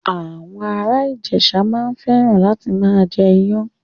Àwọn ara Ijesa maa n feran lati maa je iyan